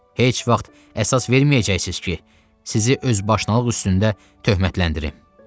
Heç vaxt əsas verməyəcəksiniz ki, sizi özbaşınalıq üstündə töhmətləndirim.